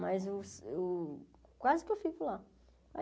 Mas os os quase que eu fico lá.